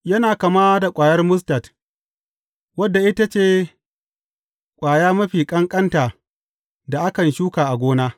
Yana kama da ƙwayar mustad, wadda ita ce ƙwaya mafi ƙanƙanta da akan shuka a gona.